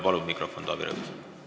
Palun anda mikrofon Taavi Rõivasele!